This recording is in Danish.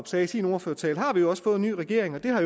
sagde i sin ordførertale fået en ny regering og det har